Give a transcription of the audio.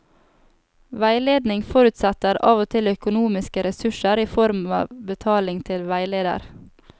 Veiledning forutsetter av og til økonomiske ressurser i form av betaling til veileder.